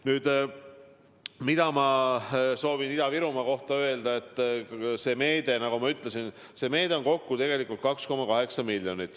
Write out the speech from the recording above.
Nüüd, mida ma soovin veel kord Ida-Virumaa kohta öelda: see meede on kokku 2,8 miljonit.